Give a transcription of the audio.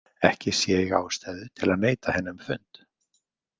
Ekki sé ég ástæðu til að neita henni um fund.